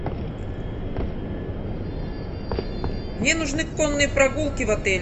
мне нужны конные прогулки в отеле